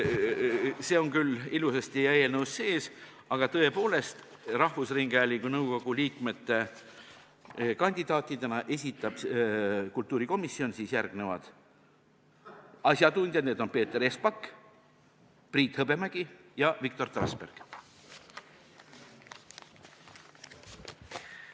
See on küll ilusasti eelnõus kirjas, aga tõepoolest, rahvusringhäälingu nõukogu liikmete kandidaatidena esitab kultuurikomisjon järgmised asjatundjad: Peeter Espak, Priit Hõbemägi ja Viktor Trasberg.